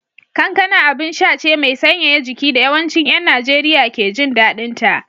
Kankana abinsha ce mai sanyaya jiki da yawancin ‘yan Najeriya ke jin daɗinta